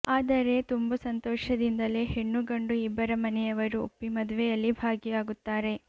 ಆದರೆ ತುಂಬು ಸಂತೋಷದಿಂದಲೆ ಹೆಣ್ಣು ಗಂಡು ಇಬ್ಬರ ಮನೆಯವರೂ ಒಪ್ಪಿ ಮದುವೆಯಲ್ಲಿ ಭಾಗಿಯಾಗುತ್ತಾರೆ